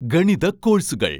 ഗണിത കോഴ്സുകൾ